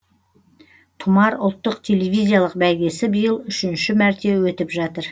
тұмар ұлттық телевизиялық бәйгесі биыл үшінші мәрте өтіп жатыр